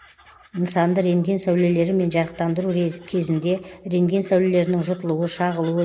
нысанды рентген сәулелерімен жарықтандыру кезінде рентген сәулелерінің жұтылуы шағылуы